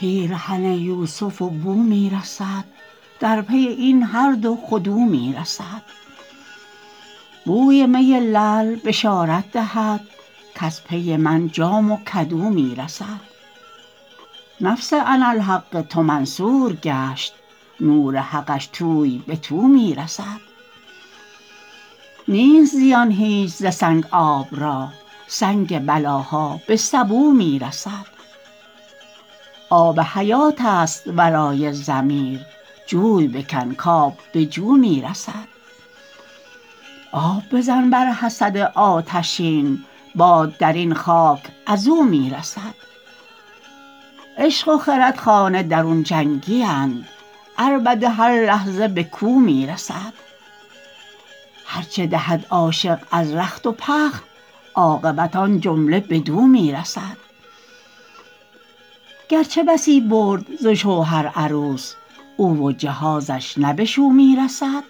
پیرهن یوسف و بو می رسد در پی این هر دو خود او می رسد بوی می لعل بشارت دهد کز پی من جام و کدو می رسد نفس اناالحق تو منصور گشت نور حقش توی به تو می رسد نیست زیان هیچ ز سنگ آب را سنگ بلاها به سبو می رسد آب حیاتست ورای ضمیر جوی بکن کآب به جو می رسد آب بزن بر حسد آتشین باد در این خاک از او می رسد عشق و خرد خانه درون جنگیند عربده هر لحظه به کو می رسد هر چه دهد عاشق از رخت و بخت عاقبت آن جمله بدو می رسد گرچه بسی برد ز شوهر عروس او و جهازش نه به شو می رسد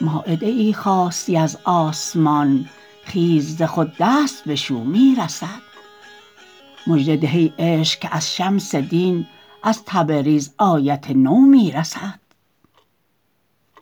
مایده ای خواستی از آسمان خیز ز خود دست بشو می رسد مژده ده ای عشق که از شمس دین از تبریز آیت نو می رسد